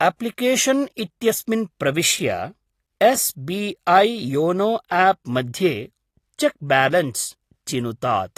Application इत्यस्मिन् प्रविश्य, S B I YONO app मध्ये 'चेक् बालन्स्' चिनुतात्।